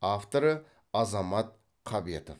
авторы азамат қабетов